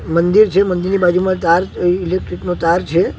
મઁદિર છે મઁદિર ની બાજુમાં તાર અ ઇલેક્ટ્રિક નો તાર છે.